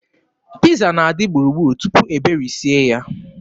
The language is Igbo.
Piiza na-adị gburugburu tupu e berisie ya.